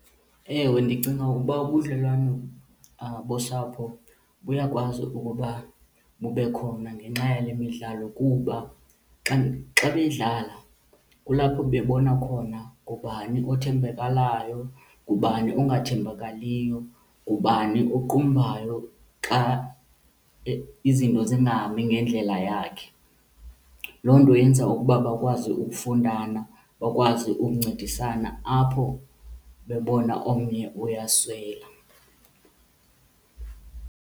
Ewe, ndicinga ukuba ubudlelwane bosapho buyakwazi ukuba bube khona ngenxa yale midlalo kuba xa, xa beyidlala kulapho bebona khona ngubani othembekalayo, ngubani ongathembakaliyo, ngubani oqumbayo xa izinto zingahambi ngendlela yakhe. Loo nto yenza ukuba bakwazi ukufundana bakwazi ukuncedisana apho bebona omnye uyaswela.